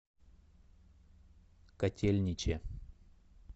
котельниче